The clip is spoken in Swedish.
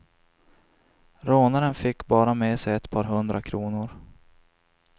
Rånaren fick bara med sig ett par hundra kronor.